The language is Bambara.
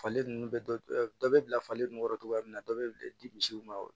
Falen ninnu bɛɛ bɛ bila falen nun kɔrɔ cogoya min na dɔ bɛ di misiw ma